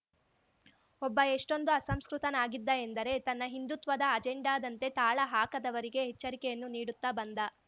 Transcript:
ಒಬ್ಬ ಎಷ್ಟೊಂದು ಅಸಂಸ್ಕೃತನಾಗಿದ್ದ ಎಂದರೆ ತನ್ನ ಹಿಂದೂತ್ವದ ಅಜೆಂಡಾದಂತೆ ತಾಳ ಹಾಕದವರಿಗೆ ಎಚ್ಚರಿಕೆಯನ್ನು ನೀಡುತ್ತ ಬಂದ